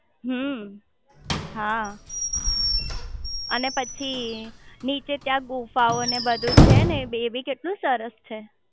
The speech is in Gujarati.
હમ્મ હા અને પછી નીચે ત્યાં ગુફાઓ ને એ બધું છે ને એ બી કેટલું સરસ છે